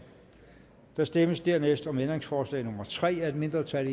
der stemmes dernæst om ændringsforslag nummer tre af et mindretal